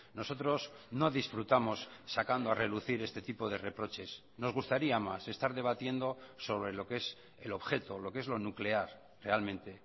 nosotros no disfrutamos sacando a relucir este tipo de reproches nos gustaría más estar debatiendo sobre lo que es el objeto lo que es lo nuclear realmente